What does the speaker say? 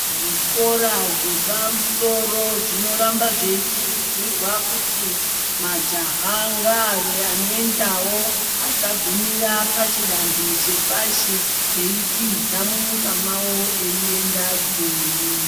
Zvikora zvepamusoro zvinoramba zveikurudzirwa kuti majaha ngaave anoendawo asagumira pachidanho chepashi eitiza munyika mwavo veienda joni.